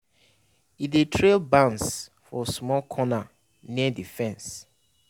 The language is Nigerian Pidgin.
e dey trail bans for small corner near the fence